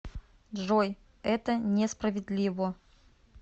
джой это не справедливо